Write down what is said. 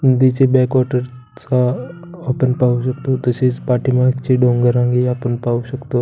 Back water चा आपण पाहु शकतो तसेच पाठी मागचे डोंगर रांगे आपण पाहु शकतो.